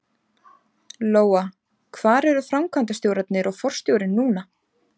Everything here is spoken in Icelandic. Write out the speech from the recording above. Lóa: Hvar eru framkvæmdastjórarnir og forstjórinn núna?